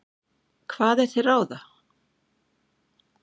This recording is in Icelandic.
Hvað er til ráða?